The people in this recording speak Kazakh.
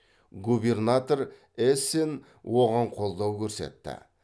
губернатор эссен оған қолдау көрсетті